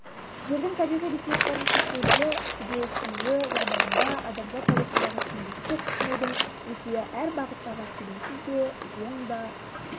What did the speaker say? жердің табиғи ресурстарының шектеулілігі түгесілуі жағдайында адамзат тарихындағы теңдесі жоқ тұтынудың өсуі әр бағыттағы келеңсіз де оң да